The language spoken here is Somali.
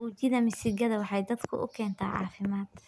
ujidha misigadha waxaay dadku ukentaa caafimaad.